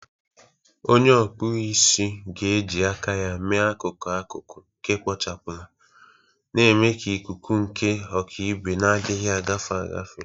Onye na-akpụ isi ga-eji aka ya mee akụkụ akụkụ nke kpochapụla, na-eme ka ikuku nke ọkaibe na-adịghị agafe agafe